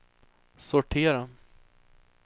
sortera